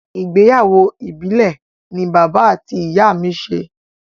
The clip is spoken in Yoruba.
Ìgbéyàwó ìbìlẹ̀ ni bàbá àti ìyá mi ṣe.